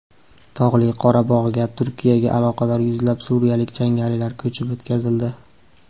Tog‘li Qorabog‘ga Turkiyaga aloqador yuzlab suriyalik jangarilar ko‘chirib o‘tkazildi.